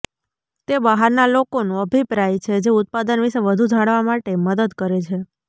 તે બહારના લોકોનું અભિપ્રાય છે જે ઉત્પાદન વિશે વધુ જાણવા માટે મદદ કરે છે